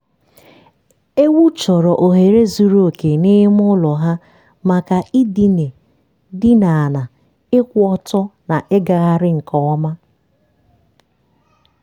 ewu chọrọ ohere zuru oke n'ime ụlọ ha makai dine dine ala ịkwụ ọtọ na ịgagharị nke ọma.